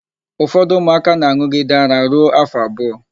Ụfọdụ ụmụaka na-an̄ụgide ara ruo áfọ̀ abụọ.